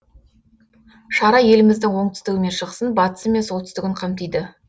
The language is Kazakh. шара еліміздің оңтүстігі мен шығысын батысы мен солтүстігін қамтиды